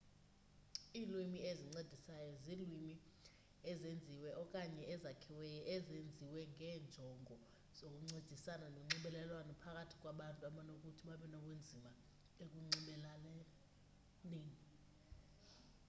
iilwimi ezincedisayo ziilwimi ezenziweyo okanye ezakhiweyo ezenziwe ngeenjongo zokuncedisana nonxibelelwano phakathi kwabantu abanokuthi babenobunzima ekunxibelelaneni